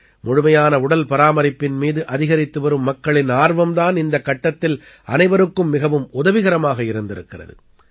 முழுமையான உடல் பராமரிப்பின் மீது அதிகரித்துவரும் மக்களின் ஆர்வம் தான் இந்த கட்டத்தில் அனைவருக்கும் மிகவும் உதவிகரமாக இருந்திருக்கிறது